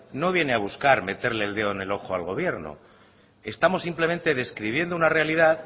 no viene a buscar meterle el dedo en el ojo al gobierno estamos simplemente describiendo una realidad